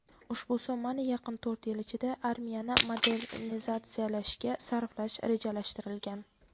ushbu summani yaqin to‘rt yil ichida armiyani modernizatsiyalashga sarflash rejalashtirilgan.